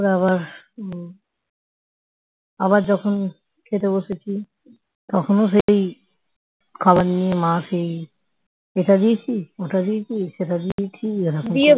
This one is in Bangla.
খাবার নিয়ে মা সেই এটা দিয়েছিস ওটা দিয়েছিস সেটা দিয়েছিস